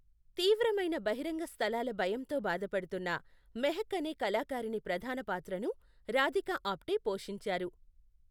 తీవ్రమైన బహిరంగ స్థలాల భయంతో బాధపడుతున్న మెహక్ అనే కళాకారిణి ప్రధాన పాత్రను రాధికా ఆప్టే పోషించారు.